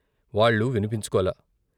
వాళ్లు విన్పించుకోలా.